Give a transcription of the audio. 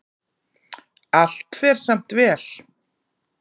Allt fer samt vel.